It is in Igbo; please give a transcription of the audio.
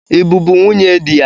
I bụbụ nwunye di ya?